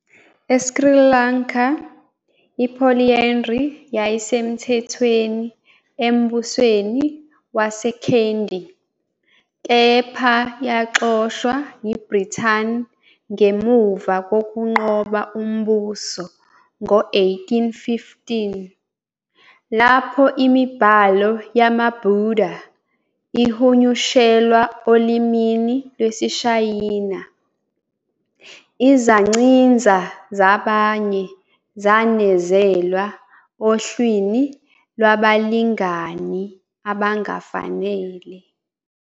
ESri Lanka, i-polyandry yayisemthethweni embusweni waseKandy, kepha yaxoshwa yiBrithani ngemuva kokunqoba umbuso ngo-1815. Lapho imibhalo yamaBuddha ihunyushelwa olimini lwesiShayina, izancinza zabanye zanezelwa ohlwini lwabalingani abangafanele.